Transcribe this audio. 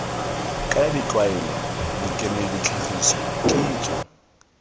kaya ditlwaelo dikemedi ditlhagiso kitso